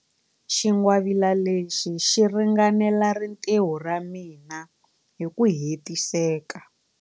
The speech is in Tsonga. Xingwavila lexi xi ringanela rintiho ra mina hi ku hetiseka.